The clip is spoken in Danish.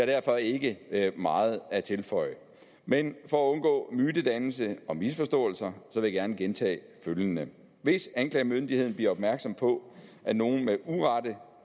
derfor ikke meget at tilføje men for at undgå mytedannelse og misforståelser vil jeg gerne gentage følgende hvis anklagemyndigheden bliver opmærksom på at nogen med urette